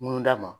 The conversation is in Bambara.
Mun d'a ma